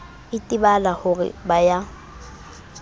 itebala ho re ba ya